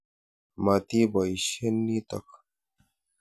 Mati poisyen nitok.